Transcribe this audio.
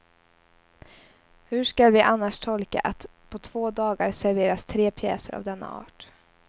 Hur skall vi annars tolka att på två dagar serveras tre pjäser av denna art.